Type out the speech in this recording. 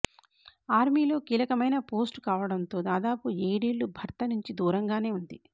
ఆర్మీలో కీలకమైన పోస్టు కావడంతో దాదాపు ఏడేళ్లు భర్త నుంచి దూరంగానే ఉంది